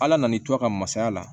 Ala nan'i to a ka masaya la